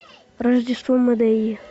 рождество мэдеи